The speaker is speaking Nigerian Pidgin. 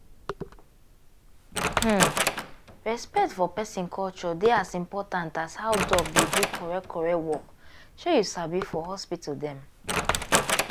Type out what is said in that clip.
hmmm respect for peson culture dey as important as how doc dey do correct correct work shey you sabi for hospital dem.